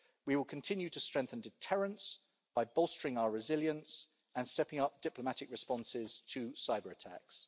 We will continue to strengthen deterrence by bolstering our resilience and stepping up diplomatic responses to cyber-attacks.